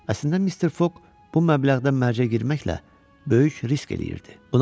Əslində Mister Foq bu məbləğdə mərcə girməklə böyük risk eləyirdi.